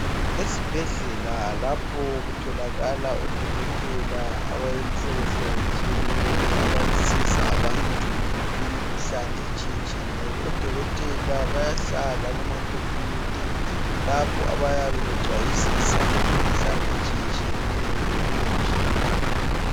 Esibhedlela lapho kutholakala odokotela abayimhlobo esthiyetsheyeneyo abaziza abantu imkhuhlane etshiyetshiyeneyo. Odokotela bayahlala kuma khophiyutha lapho bayabe becwayisisa ngemikuhlane etshiyetshiyeneyo ebulejini.